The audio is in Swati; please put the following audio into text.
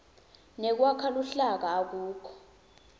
nekwakha luhlaka akukho